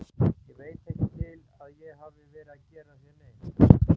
Ég veit ekki til að ég hafi verið að gera þér neitt.